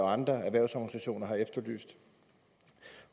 andre erhvervsorganisationer har efterlyst